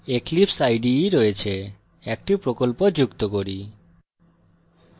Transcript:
এখানে eclipse ide রয়েছে একটি প্রকল্প যুক্ত করি